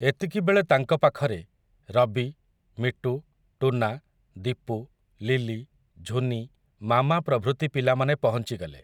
ଏତିକିବେଳେ ତାଙ୍କ ପାଖରେ, ରବି ମିଟୁ ଟୁନା ଦୀପୁ ଲିଲି ଝୁନି ମାମା ପ୍ରଭୃତି ପିଲାମାନେ ପହଞ୍ଚିଗଲେ ।